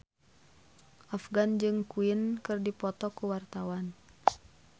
Afgan jeung Queen keur dipoto ku wartawan